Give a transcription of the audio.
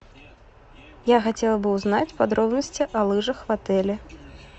я хотела бы узнать подробности о лыжах в отеле